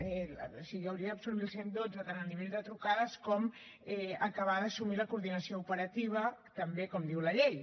o sigui hauria d’absorbir el cent i dotze tant a nivell de trucades com acabar d’assumir la coordinació operativa també com diu la llei